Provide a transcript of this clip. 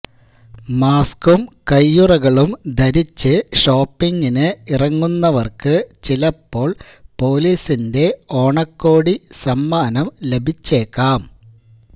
മാസ്ക്കും കയ്യുറകളും ധരിച്ച് ഷോപ്പിങ്ങിന് ഇറങ്ങുന്നവര്ക്കു ചിലപ്പോള് പൊലീസിന്റെ ഓണക്കോടി സമ്മാനം ലഭിച്ചേക്കാം